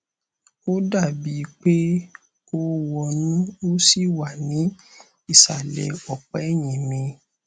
ó dàbí i pé ó wọnú ó sì wà ní ìsàlẹ ọpá ẹyìn mi